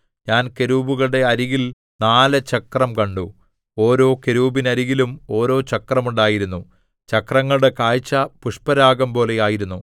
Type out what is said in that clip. ഞാൻ കെരൂബുകളുടെ അരികിൽ നാല് ചക്രം കണ്ടു ഓരോ കെരൂബിനരികിലും ഓരോ ചക്രം ഉണ്ടായിരുന്നു ചക്രങ്ങളുടെ കാഴ്ച പുഷ്പരാഗംപോലെ ആയിരുന്നു